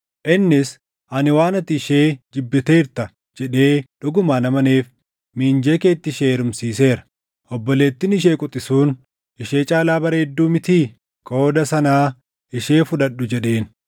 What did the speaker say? Innis, “Ani waan ati ishee jibbiteerta jedhee dhugumaan amaneef miinjee keetti ishee heerumsiiseera; obboleettiin ishee quxisuun, ishee caalaa bareedduu mitii? Qooda sanaa ishee fudhadhu” jedheen.